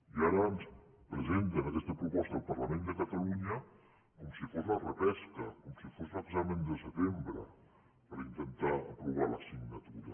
i ara ens presenten aquesta proposta al parlament de catalunya com si fos la repesca com si fos l’examen de setembre per intentar aprovar l’assignatura